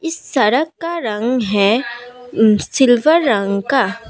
इस सरक का रंग है सिल्वर रंग का--